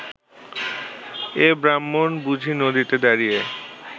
এ ব্রাহ্মণ বুঝি নদীতে দাঁড়িয়ে